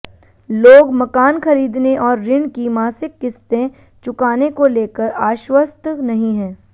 लोग मकान खरीदने और ऋण की मासिक किस्तें चुकाने को लेकर आश्वस्त नहीं है